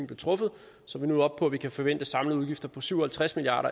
blev truffet så vi nu er oppe på at vi kan forvente samlede udgifter på syv og halvtreds milliard